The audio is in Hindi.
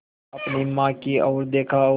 अपनी माँ की ओर देखा और